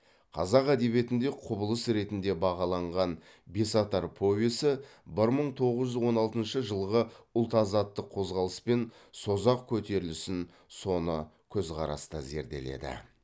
қазақ әдебиетінде құбылыс ретінде бағаланған бесатар повесі бір мың тоғыз жүз он алтыншы жылғы ұлт азаттық қозғалыс пен созақ көтерілісін соны көзқараста зерделеді